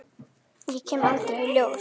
Ég kem aldrei í ljós.